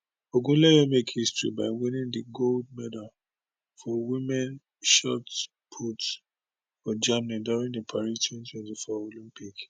ogunleye make history by winning di gold medal for women shot put for germany during di paris 2024 olympic